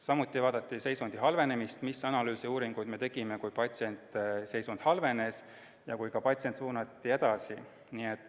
Samuti vaadati seisundi halvenemist – seda, milliseid analüüse ja uuringuid me tegime, kui patsiendi seisund halvenes ja kui patsient suunati edasi.